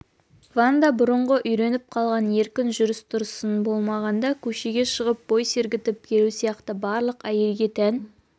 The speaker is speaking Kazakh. ванда бұрынғы үйреніп қалған еркін жүріс-тұрысын болмағанда көшеге шығып бой сергітіп келу сияқты барлық әйелге тән